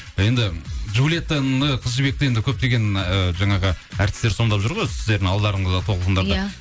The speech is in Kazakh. енді джулиеттаны қыз жібекті енді көптеген ы жаңағы әртістер сомдап жүр ғой сіздердің алдындарыңызда толқындатып иә